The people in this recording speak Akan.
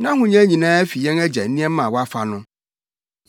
Nʼahonya nyinaa fi yɛn agya nneɛma a wafa no.”